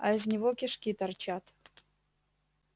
а из него кишки торчат